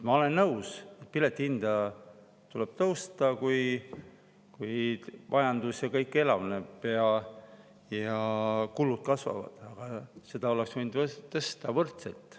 Ma olen nõus, et piletihinda tuleb tõsta, kui majandus ja kõik elavneb ja kulud kasvavad, aga seda oleks võinud tõsta võrdselt.